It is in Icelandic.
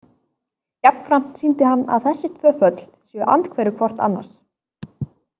Jafnframt sýndi hann að þessi tvö föll séu andhverfur hvort annars.